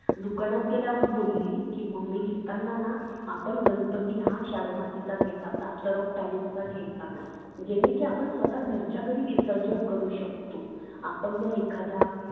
दुकानात बोलली की mummy घेताना ना आपण गणपती हा shadow मातीचा घ्यायचा plaster of paris चा घ्यायचा नाही. जेनी की आपण स्वतः घरच्या घरी विसर्जन करू शकतो. आपण जर एखाद्या